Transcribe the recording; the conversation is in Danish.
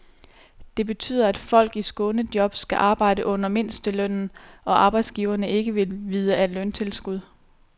Det betyder, at folk i skånejob skal arbejde under mindstelønnen, og arbejdsgiverne vil ikke vide af løntilskud.